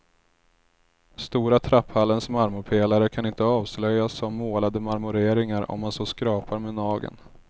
Stora trapphallens marmorpelare kan inte avslöjas som målade marmoreringar om man så skrapar med nageln.